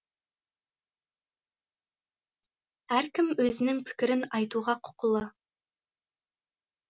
әркім өзінің пікірін айтуға құқылы